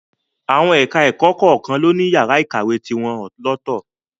Àwọn ẹ̀ka-ẹ̀kọ kọ̀ọ̀kan ló ní yàrá ìkàwé tiwọn lọ́tọ̀